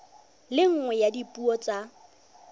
le nngwe ya dipuo tsa